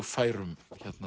færum